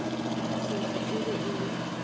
sehla e be e le